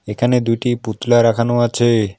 এখানে দুইটি পুতলা রাখানো আছে।